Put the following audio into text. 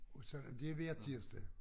Og sådan er det hver tirsdag